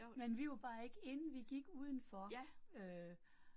Men vi var bare ikke inde, vi gik udenfor øh